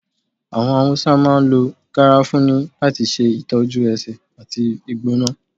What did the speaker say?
Awọn Hausa máà ń lọ garafuni lati ṣe itọjú ẹsé ati igbona.